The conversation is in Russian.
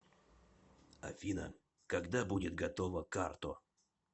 афина когда будет готова карто